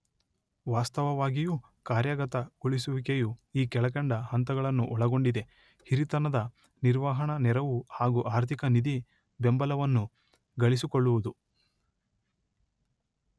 ವಾಸ್ತವವಾಗಿಯೂ ಕಾರ್ಯಗತಗೊಳಿಸುವಿಕೆಯು ಈ ಕೆಳಕಂಡ ಹಂತಗಳನ್ನು ಒಳಗೊಂಡಿದೆ:ಹಿರಿತನದ ನಿರ್ವಹಣಾ ನೆರವು ಹಾಗು ಆರ್ಥಿಕ ನಿಧಿ, ಬೆಂಬಲವನ್ನು ಗಳಿಸಿಕೊಳ್ಳುವುದು.